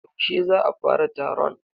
Yaushe za a fara taron?